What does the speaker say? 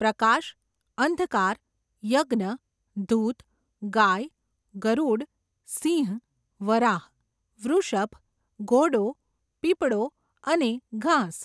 પ્રકાશ, અંધકાર, યજ્ઞ, ઘૂત, ગાય, ગરૂડ, સિંહ, વરાહ, વૃષભ, ઘોડો, પીપળો, અને ઘાસ.